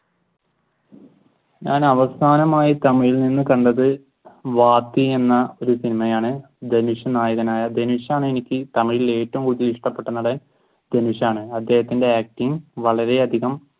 ഞാൻ അവസാനമായി തമിഴിൽ നിന്ന് കണ്ടത് വാത്മി എന്ന ഒരു സിനിമയാണ്. ധനുഷ് നായകനായ ധനുഷാണ് എനിക്ക് തമിഴിൽ ഏറ്റവും കൂടുതൽ ഇഷ്ടപെട്ട നടൻ ധനുഷാണ്. അദ്ദേഹത്തിന്റെ acting വളരെയധികം